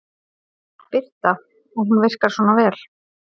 Birta: Og hún virkar svona vel?